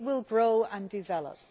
It will grow and develop.